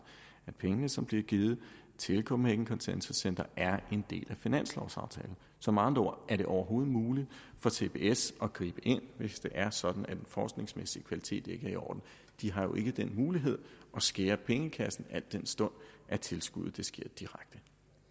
at pengene som bliver givet til copenhagen consensus center er en del af finanslovaftalen så med andre ord er det overhovedet muligt for cbs at gribe ind hvis det er sådan at den forskningsmæssige kvalitet ikke er i orden de har jo ikke den mulighed at skære i pengene al den stund bloktilskuddet sker direkte